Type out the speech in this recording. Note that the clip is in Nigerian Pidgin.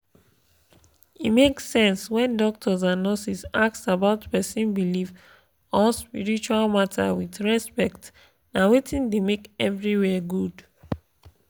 e make sense when doctors and nurses ask about person belief or spiritual matter with respect na wetin da make everywhere good